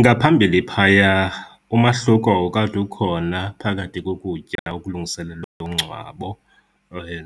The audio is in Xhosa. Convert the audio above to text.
Ngaphambili phaya umahluko wawukade ukhona phakathi kokutya okulungiselelwa umngcwabo